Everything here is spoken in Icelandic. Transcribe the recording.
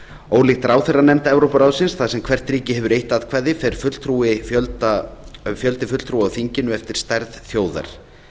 ólíkt ráðherranefnd evrópuráðsins þar sem hvert ríki hefur eitt atkvæði fer fjöldi fulltrúa á þinginu eftir stærð þjóðar